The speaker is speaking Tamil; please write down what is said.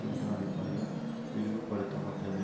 என்ற அடிப்படையில் விரிவுபடுத்தப்பட்டது